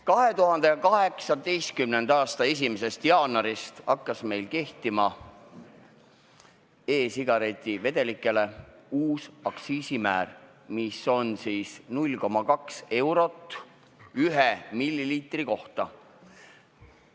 2018. aasta 1. jaanuarist hakkas meil kehtima e-sigareti vedelikele uus aktsiisimäär, 0,2 eurot 1 milliliitri kohta.